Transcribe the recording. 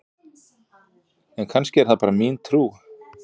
en kannski er það bara mín trú!